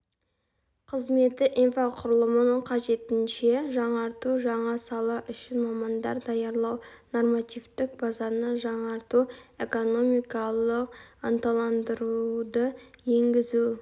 қызметі инфрақұрылымын қажетінше жаңарту жаңа сала үшін мамандар даярлау нормативтік базаны жаңарту экономикалық ынталандыруды енгізу